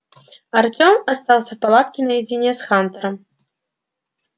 артём остался в палатке наедине с хантером